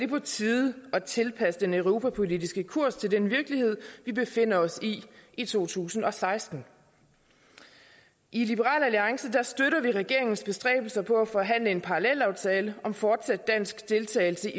på tide at tilpasse den europapolitiske kurs den virkelighed vi befinder os i i to tusind og seksten i liberal alliance støtter vi regeringens bestræbelser på at forhandle en parallelaftale om fortsat dansk deltagelse